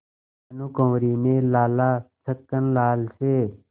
भानकुँवरि ने लाला छक्कन लाल से